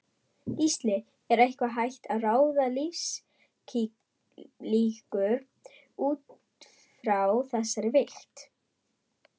Gísli: Er eitthvað hægt að ráða lífslíkur útfrá þessari vigt?